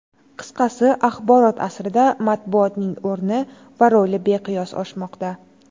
Qisqasi, axborot asrida matbuotning o‘rni va roli beqiyos oshmoqda.